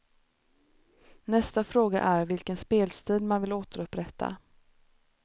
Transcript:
Nästa fråga är vilken spelstil man vill återupprätta.